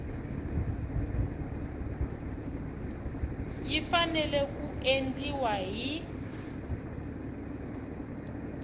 yi fanele ku endliwa hi